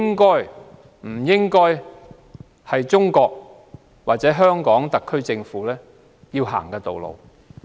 我認為，中國或特區政府不應有這種野蠻行為。